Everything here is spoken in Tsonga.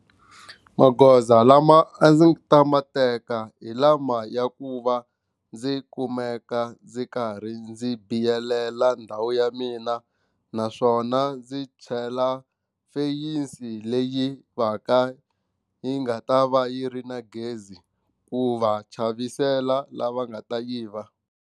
Magoza lama a ndzi ta ma teka hi lama ya ku va ndzi kumeka ndzi karhi ndzi biyelela ndhawu ya mina naswona ndzi chela fence leyi va ka yi nga ta va yi ri na gezi ku va chavisela lava nga ta yiva.